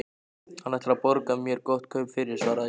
Hann ætlar að borga mér gott kaup fyrir, svaraði Jói.